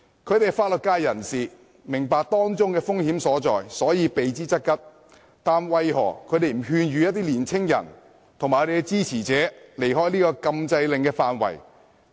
他們是法律界人士，明白當中的風險，所以避之則吉，但為何他們不勸諭年青人和支持者離開禁制令範圍？